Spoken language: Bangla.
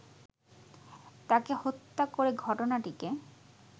তাকে হত্যা করে ঘটনাটিকে